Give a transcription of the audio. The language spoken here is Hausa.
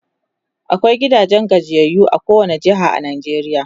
akwai gidajen gajiyayyu a kowani jeha a Najeriya